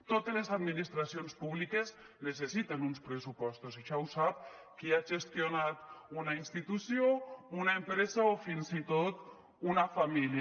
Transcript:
totes les administracions públiques necessiten uns pressupostos això ho sap qui ha gestionat una institució una empresa o fins i tot una família